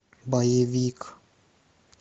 боевик